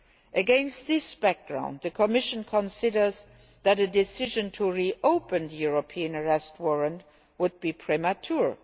States. Against that background the Commission considers that a decision to re open the European Arrest Warrant would be premature.